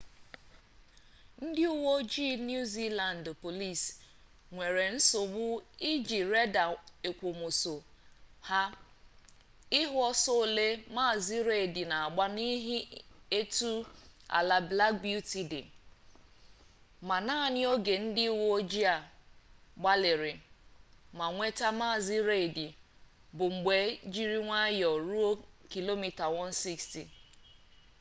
ndị uwe ojii new zealand police nwere nsogbu iji reda èkwòmọsọ ha ịhụ ọsọ ole maazị reid na-agba n’ihi etu ala black beauty dị ma naanị oge ndị uwe ojii gbalịrị ma nweta maazị reid bụ mgbe jiri nwayọọ ruo km/a160